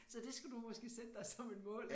Så det skal du måske sætte dig som et mål